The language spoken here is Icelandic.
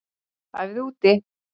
Æfðu úti